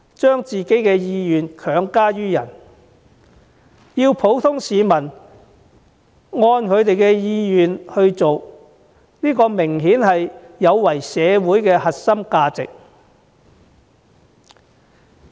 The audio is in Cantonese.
把自己的意願強加於人，要他人按照自己的意願去做，這明顯有違社會核心價值。